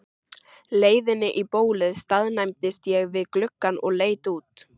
leiðinni í bólið staðnæmdist ég við gluggann og leit út.